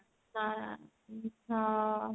ହଁ